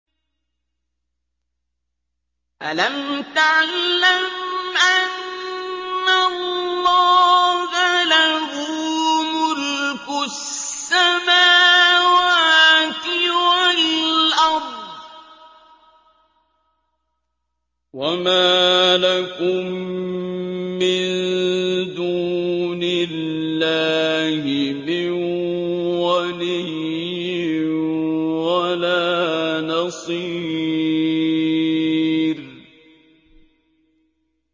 أَلَمْ تَعْلَمْ أَنَّ اللَّهَ لَهُ مُلْكُ السَّمَاوَاتِ وَالْأَرْضِ ۗ وَمَا لَكُم مِّن دُونِ اللَّهِ مِن وَلِيٍّ وَلَا نَصِيرٍ